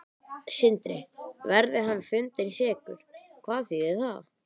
Sindri: Verði hann fundinn sekur, hvað þýðir það?